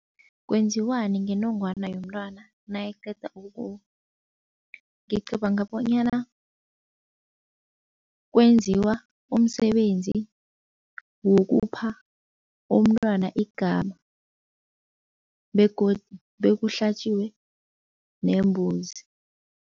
Kwenziwani ngenongwana yomntwana nayiqeda ukuwa? Ngicabanga bonyana kwenziwa umsebenzi wokupha umntwana igama begodu bekuhlatjiwe nembuzi.